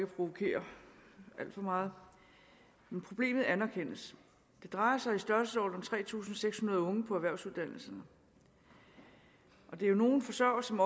provokere alt for meget men problemet anerkendes det drejer sig om i størrelsesordenen tre tusind seks hundrede unge på erhvervsuddannelserne der er nogle forsørgere som